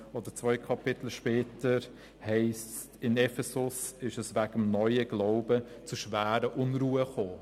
Und zwei Kapitel später heisst es, in Ephesus sei es wegen des neuen Glaubens zu schweren Unruhen gekommen.